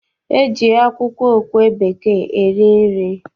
E ji akwụkwọ okwe bekee esi nri.